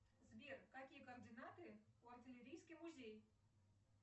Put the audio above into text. сбер какие координаты у артилерийский музей